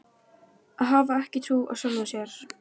Hafa ekki trú á sjálfum sér.